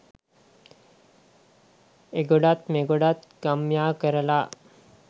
එගොඩත් මෙගොඩත් ගම් යා කරලා